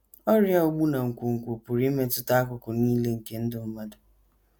Ọrịa ogbu na nkwonkwo pụrụ imetụta akụkụ nile nke ndụ mmadụ.